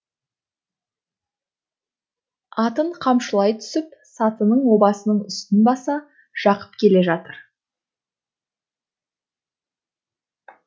атын қамшылай түсіп сатының обасының үстін баса жақып келе жатыр